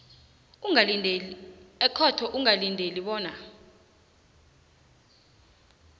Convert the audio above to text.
ekhotho ungalindela bona